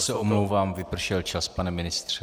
Já se omlouvám, vypršel čas, pane ministře.